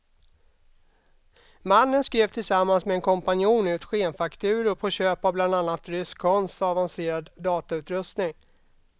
Mannen skrev tillsammans med en kompanjon ut skenfakturor på köp av bland annat rysk konst och avancerad datautrustning.